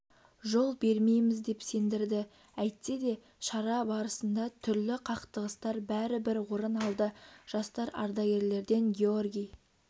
жол бермейміз деп сендірді әйтседе шара барысында түрлі қақтығыстар бәрібір орын алды жастар ардагерлерден георгий